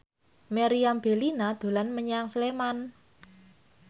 Meriam Bellina dolan menyang Sleman